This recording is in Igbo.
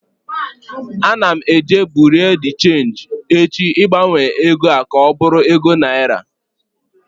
Ana m eje bureau de cheenji echi ịgbanwe egoa ka ọ bụrụ ego naira